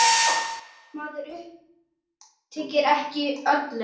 Maður ypptir ekki öxlum.